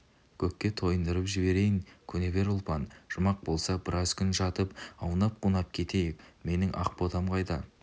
көкке тойындырып жіберейін көне бер ұлпан жұмақ болса біраз күн жатып аунап-қунап кетейік менің ақ ботам қайда